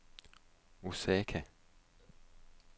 Osaka